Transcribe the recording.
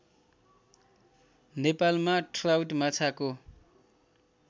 नेपालमा ट्राउट माछाको